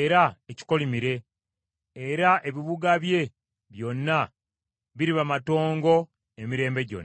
era ekikolimire, era ebibuga bye byonna biriba matongo emirembe gyonna.”